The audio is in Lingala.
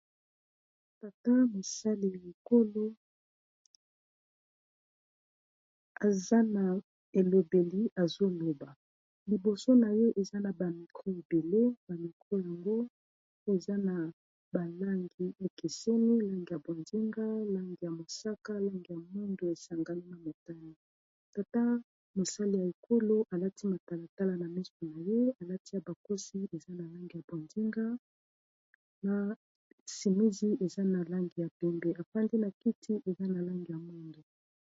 tata mosali ya ekolo eza na elobeli azoleba liboso na ye eza na bamikro ebele bamikro yango eza na balangi ekeseni langi ya bondinga langi ya mosaka langi ya mundu esangami na matani tata mosali ya ekolo alati matalatala na misu na ye alati ya bakosi eza na lange ya bondinga na simizi eza na langi ya pembe efandi na kiti eza na lange ya mundu